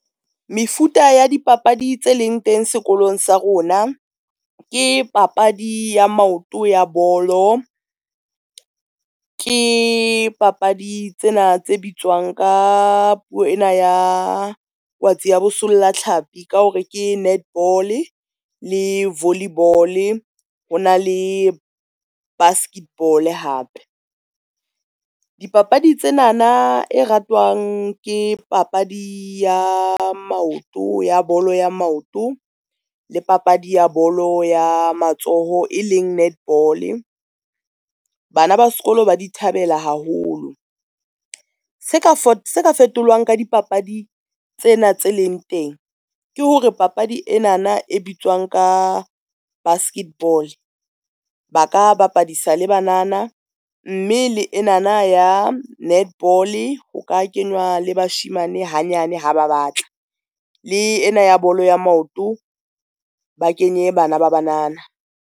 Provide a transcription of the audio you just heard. Mefuta ya dipapadi tse leng teng sekolong sa rona ke papadi ya maoto ya bolo, ke papadi tsena tse bitswang ka puo ena ya kwatsi ya bosolla thlapi ka hore ke netball le volleyball, ho na le basket ball hape. Dipapadi tsena na e ratwang, ke papadi ya maoto ya bolo ya maoto le papadi ya bolo ya matsoho e leng netball, bana ba sekolo ba di thabela haholo. Se ka fetolwang ka di papadi tsena tse leng teng, ke hore papadi ena na e bitswang ka basket ball, ba ka bapadisa le banana, mme le ena na ya netball ho ka kenywa le bashemane hanyane ha ba batla le ena ya bolo ya maoto ba kenye bana ba banana.